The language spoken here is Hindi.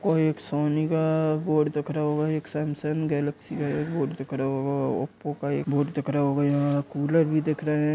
कोई एक सोनी का बोर्ड दिख रहा होगा एक सैमसंग गैलेक्सी का एक बोर्ड दिख रहा होगा ओप्पो का एक बोर्ड दिख रहा होगा यहाँ कूलर भी दिख रहे हैं|